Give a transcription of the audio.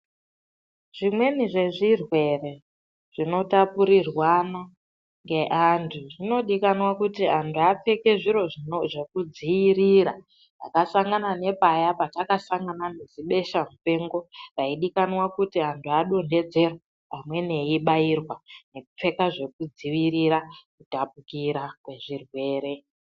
Zvimweni zvezvirwere zvinotapurirwana ngeantu dzinodikanwa kuti anti apfeke zviro zvinodzivirira. Zvakafanana nepaya patakasangana nezibesha mupengo raidikanwa kuti anhu adonhedzerwe amweni eyibairwa nekupfeka zvekudzivirira kutapukira kwezvirwere.